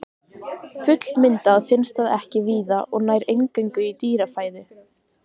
Fullmyndað finnst það ekki víða og nær eingöngu í dýrafæðu.